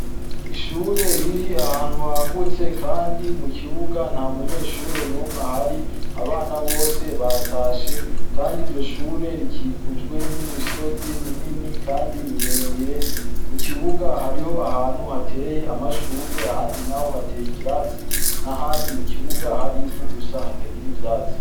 Ishure riri ahantu hagutse kandi mukibuga nta munyeshure numwe ahari, abana bose batashe kandi iryo shure rikikujwe nimisozi minini kandi miremire, kukibuga hariho ahantu hateye amashurwe ahandi naho hateye ivyatsi nahandi mukibuga hari ivu gusa hatagira ivyatsi.